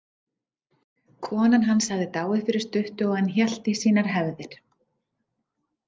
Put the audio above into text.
Konan hans hafði dáið fyrir stuttu og hann hélt í sínar hefðir.